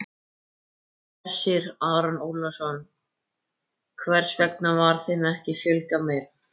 Hersir Aron Ólafsson: Hvers vegna var þeim ekki fjölgað meira?